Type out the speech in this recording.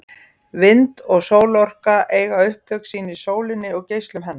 Vind- og sólarorka eiga upptök sín í sólinni og geislum hennar.